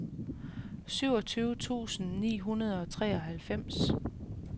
syvogtyve tusind ni hundrede og treoghalvfems